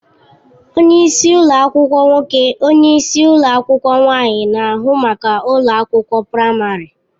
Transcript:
Onye isi ụlọ akwụkwọ nwoke / onyeisi ụlọ akwụkwọ nwaanyị na-ahụ maka ụlọ akwụkwọ praịmarị.